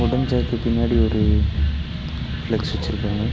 Wooden சேருக்கு பின்னாடி ஒரு ஃப்ளக்ஸ் வெச்சிருக்காங்க.